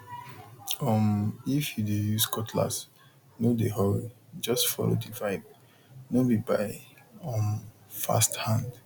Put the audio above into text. um if you dey use cutlass no dey hurryjust follow the vibe no be by um fast hand